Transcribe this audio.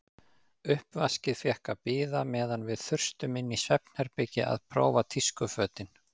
Uppvaskið fékk að bíða meðan við þustum inn í svefnherbergi að prófa tískufötin.